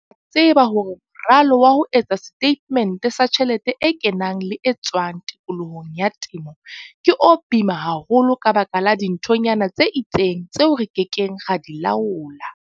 Re a tseba hore moralo wa ho etsa setatemente sa tjhelete e kenang le e tswang tikolohong ya temo ke o boima haholo ka baka la dinthonyana tse itseng tseo re ke keng ra di laola.